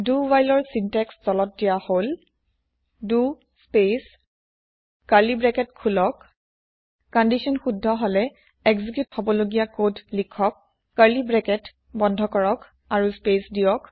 দো হোৱাইলৰ চিন্তেক্স তলত দিয়া হল দ স্পেচ কাৰ্লি ব্ৰেকেত খোলক কন্দিচ্যন শুদ্ধ হলে এক্জিক্যুত হবলগীয়া কদ লিখক কাৰ্লি ব্ৰেকেত ব্ৰেকেত বন্ধ কৰক আৰু স্পেচ দিয়ক